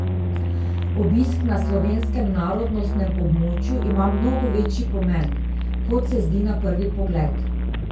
Obisk na slovenskem narodnostnem območju ima mnogo večji pomen, kot se zdi na prvi pogled.